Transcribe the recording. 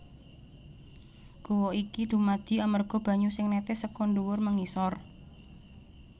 Guwa iki dumadi amarga banyu sing nètès seka ndhuwur mengisor